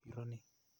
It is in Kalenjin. Iron ni.